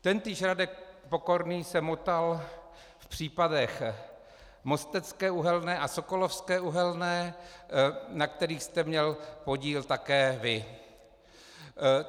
Tentýž Radek Pokorný se motal v případech Mostecké uhelné a Sokolovské uhelné, na kterých jste měl podíl také vy.